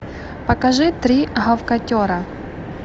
покажи три гавкотера